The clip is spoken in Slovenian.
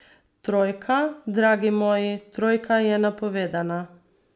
Trojka, dragi moji, trojka je napovedana.